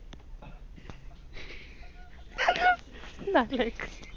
अर